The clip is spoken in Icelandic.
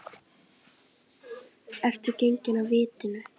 Ertu genginn af vitinu?